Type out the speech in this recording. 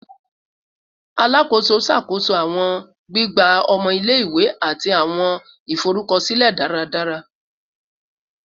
Alakoso ṣakoso awọn gbigba ọmọ ile-iwe ati awọn iforukọsilẹ daradara